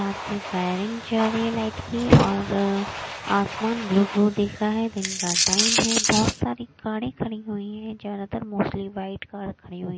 Gun की firing जा रही है लाइट की और आसमान ब्लू ब्लू दिख रहा है दिन का टाइम है बहुत सारी गाड़ी खड़ी हुई है ज्यादातर मोस्टली वाइट कार खड़ी हुई हैं।